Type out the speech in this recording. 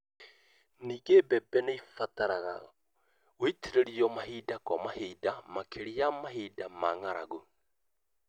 Ningĩ, mbembe nĩ cibataraga gũitĩrĩrio mahinda kwa mahinda, makĩria mahinda ma ng'aragu.